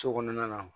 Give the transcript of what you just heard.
So kɔnɔna na